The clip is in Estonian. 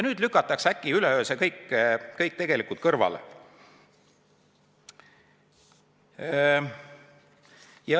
Nüüd lükatakse üleöö see kõik kõrvale.